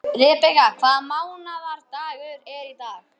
Rebekka, hvaða mánaðardagur er í dag?